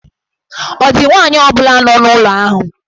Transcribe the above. Ọ̀ dị nwaanyị ọ bụla nọ n'ụlọ ahụ?